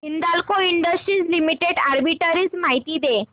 Hindalco industries limited arbitrage माहिती दे